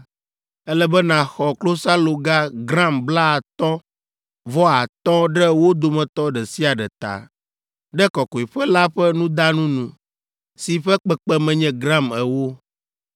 ele be nàxɔ klosaloga gram blaatɔ̃ vɔ atɔ̃ ɖe wo dometɔ ɖe sia ɖe ta, ɖe kɔkɔeƒe la ƒe nudanu nu, si ƒe kpekpeme nye gram ewo.